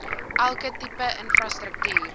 elke tipe infrastruktuur